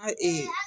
A ee